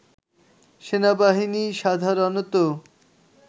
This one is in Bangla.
সেনাবাহিনী সাধারণত